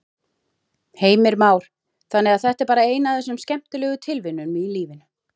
Heimir Már: Þannig að þetta er bara ein af þessum skemmtilegu tilviljunum í lífinu?